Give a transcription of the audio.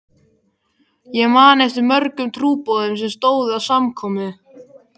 Ég man eftir mörgum trúboðum sem stóðu að samkomum.